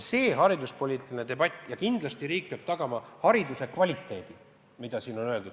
Hariduspoliitilises debatis on öeldud, et kindlasti riik peab tagama hariduse kvaliteedi.